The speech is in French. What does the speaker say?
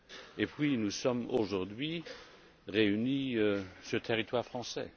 Et puis nous sommes aujourd'hui réunis sur le territoire français.